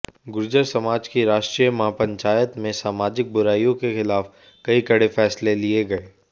गुर्जर समाज की राष्ट्रीय महापंचायत में सामाजिक बुराइयों के खिलाफ कई कड़े फैसले लिए गए